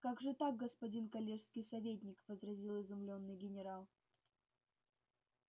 как же так господин коллежский советник возразил изумлённый генерал